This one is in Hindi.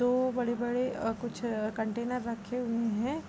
दो बड़े बड़े कुछ कंटेनर रखे हुए हैं।